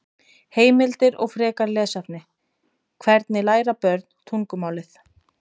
Heimildir og frekara lesefni: Hvernig læra börn tungumálið?